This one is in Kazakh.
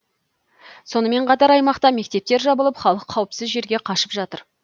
сонымен қатар аймақта мектептер жабылып халық қауіпсіз жерге қашып жатыр